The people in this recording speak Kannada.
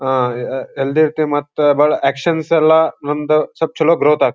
ಅಹ್ ಅಹ್ ಹೆಲ್ದ್ಯ್ ಇರ್ತಿವಿ ಮತ್ತು ಭಾಳ್ ಅಕ್ಷನ್ಸ್ ಯಲ್ಲ ಒಂದ ಸ್ವಲ್ಪ ಚಲೋ ಗ್ರೋಥ್ ಆಗ್ತ--